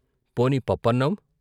" పోనీ పప్పన్నం?